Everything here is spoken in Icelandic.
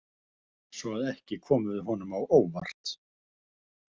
Svo að ekki komum við honum á óvart.